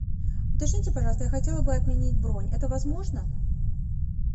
уточните пожалуйста я хотела бы отменить бронь это возможно